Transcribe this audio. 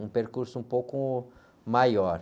Um percurso um pouco maior.